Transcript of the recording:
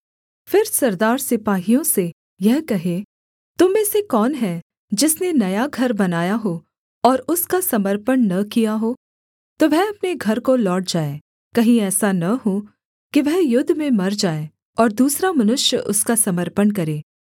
फिर सरदार सिपाहियों से यह कहें तुम में से कौन है जिसने नया घर बनाया हो और उसका समर्पण न किया हो तो वह अपने घर को लौट जाए कहीं ऐसा न हो कि वह युद्ध में मर जाए और दूसरा मनुष्य उसका समर्पण करे